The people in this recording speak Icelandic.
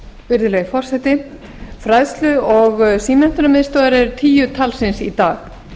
virðulegi forseti fræðslu og símenntunarmiðstöðvar eru tíu talsins í dag